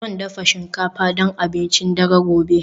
Zan dafa shinkafa don abincin dare gobe